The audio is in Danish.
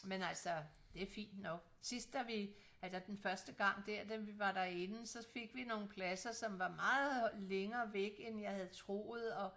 Men altså det fint nok sidst da vi eller den første gang dér da vi var derinde så fik vi nogle pladser som var meget længere væk end jeg havde troet og